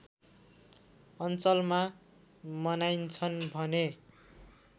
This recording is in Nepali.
अञ्चलमा मनाइन्छन् भने